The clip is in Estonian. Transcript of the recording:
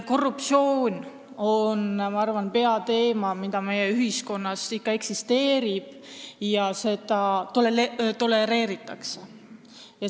Korruptsioon on, ma arvan, peateema, mis meie ühiskonnas eksisteerib ja mida tolereeritakse.